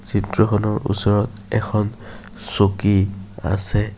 চিত্ৰখনৰ ওচৰত এখন চকী আছে।